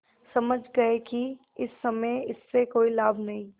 समझ गये कि इस समय इससे कोई लाभ नहीं